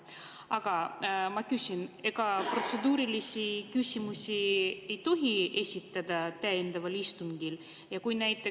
Aga ma küsin: kas ka protseduurilisi küsimusi ei tohi täiendaval istungil esitada?